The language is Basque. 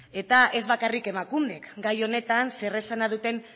eta ez bakarrik emakundek gai honetan zer esana duten